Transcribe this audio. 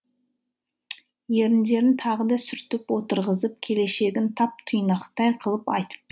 еріндерін тағы да сүртіп отырғызып келешегін тап тұйнақтай қылып айтып